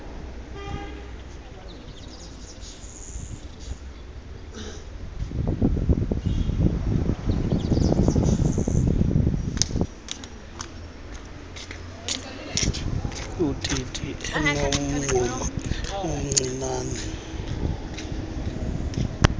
ititi enomngxuma omncianen